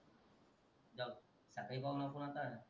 रात्री पाहून आलता